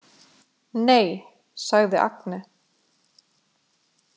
Nei, sagði Agne.